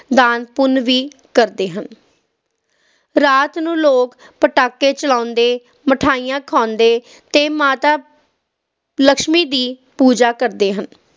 ਦਾਨ ਪੁੰਨ ਵੀ ਕਰਦੇ ਹਨ ਰਾਤ ਨੂੰ ਲੋਕ ਪਟਾਕੇ ਚਲਾਉਂਦੇ ਮਿਠਾਈਆਂ ਖਾਂਦੇ ਤੇ ਮਾਤਾ ਲਕਸ਼ਮੀ ਦੀ ਪੂਜਾ ਕਰਦੇ ਹਨ